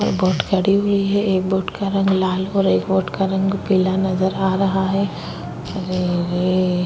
पे बोट खड़ी हुई है एक बोट का रंग लाल और एक बोट का रंग पिला नजर आ रहा है अरेरे --